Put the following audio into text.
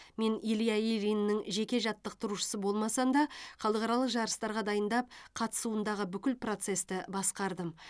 мен илья ильиннің жеке жаттықтырушысы болмасам да халықаралық жарыстарға дайындап қатысуындағы бүкіл процесті басқардым